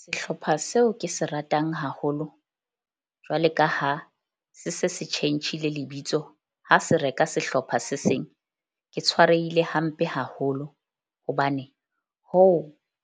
Sehlopha seo ke se ratang haholo jwale ka ha se se se tjhentjhile lebitso ha se reka sehlopha se seng ke tshwarehile hampe haholo. Hobane hoo